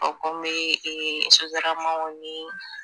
A bɛ komi sotaramaw ni